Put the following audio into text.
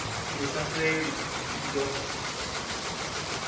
lu sa fheli i do